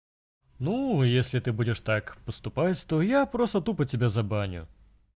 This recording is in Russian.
ну если ты будешь так поступать то я просто тупо тебя забаню